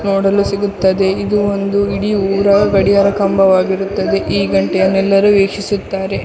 ನೋಡಲು ಸಿಗುತ್ತದೆ ಇದು ಒಂದು ಇಡೀ ಊರ ಗಡಿಯಾರ ಕಂಬವಾಗಿರುತ್ತದೆ ಈ ಘಂಟೆಯನ್ನು ಎಲ್ಲರೂ ವೀಕ್ಷಿಸುತ್ತಾರೆ.